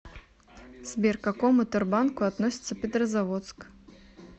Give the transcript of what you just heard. сбер к какому тербанку относится петрозаводск